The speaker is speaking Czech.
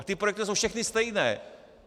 A ty projekty jsou všechny stejné.